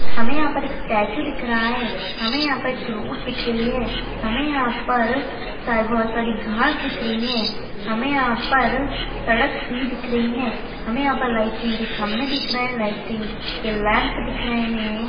हमे यहाँ पर एक स्टैचू दिख रहा हैं हमे यहाँ पर एक रोड दिख रही हैं हमे यहाँ पर सारी बहोत सारी घाँस दिख रही हैं हमे यहाँ पर सड़क भी दिख रही हैं हमे यहाँ पर लाइटिंग के खंबे दिख रहे हैं लाइटिंग के लैम्प दिख रहे हैं।